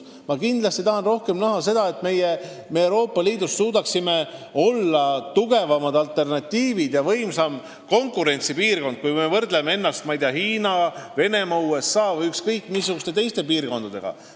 Ma tahan kindlasti rohkem näha seda, et me suudaksime Euroopa Liiduna olla tugevam alternatiiv ja võimsam konkurentsipiirkond, kui me võrdleme ennast Hiina, Venemaa, USA või ükskõik missuguste teiste piirkondadega.